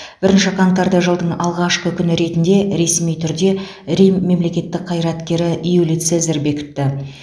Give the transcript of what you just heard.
бірінші қаңтарды жылдың алғашқы күні ретінде ресми түрде рим мемлекеттік қайраткері юлий цезарь бекітті